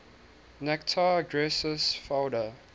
mactare aggressus foeda